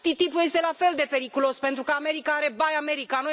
TTIP este la fel de periculos, pentru că America are Buy America.